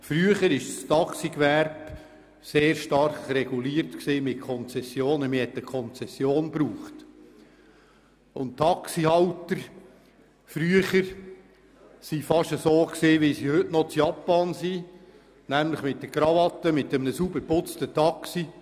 Früher war das Taxigewerbe mittels Konzessionen sehr stark reguliert, und unsere Taxihalter waren ähnlich unterwegs, wie die heutigen in Japan, nämlich mit einer Krawatte und einem sauber geputzten Taxi.